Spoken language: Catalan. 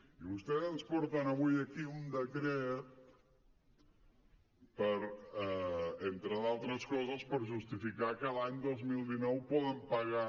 i vostès ens porten avui aquí un decret per entre altres coses justificar que l’any dos mil dinou poden pagar